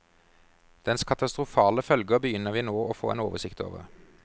Dens katastrofale følger begynner vi nå å få en oversikt over.